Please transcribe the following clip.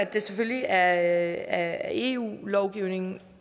det selvfølgelig er eu lovgivning